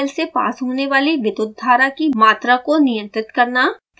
heater coil से pass होने वाली विद्युत धारा की मात्रा को नियंत्रित करना